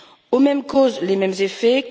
Aux mêmes causes les mêmes effets.